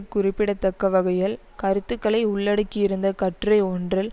குறிப்பிடத்தக்க வகையில் கருத்துக்களை உள்ளடக்கியிருந்த கட்டுரை ஒன்றில்